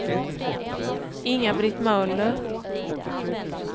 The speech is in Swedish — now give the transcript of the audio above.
Inga-Britt Möller